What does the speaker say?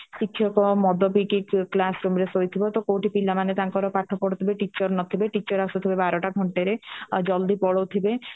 ଶିକ୍ଷକ ମଦ ପିଇକି class room ରେ ଶୋଇଥିବ କଉଠି ପିଲାମାନେ ତାଙ୍କର ପାଠ ପଢୁଥିବେ teacher ନଥିବେ teacher ଆସୁଥିବେ ବାରଟା ଘଣ୍ଟାଏରେ ଆଉ ଜଲଦି ପାଳଉ ଥିବେ